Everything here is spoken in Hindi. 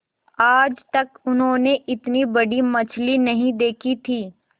आज तक उन्होंने इतनी बड़ी मछली नहीं देखी थी